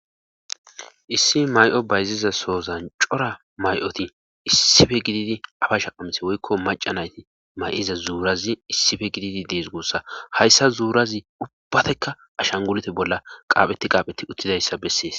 Issi may'o bayziza sozan cora may'oti issife gididi afa shaqamse woykko maca nayti may'iza zuurazi issife gididi dees gossa hayssa zuurazi ubbbatekka ashan gulete bolla qaaphetti qaaphetti uttidayssa bessees.